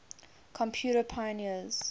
computer pioneers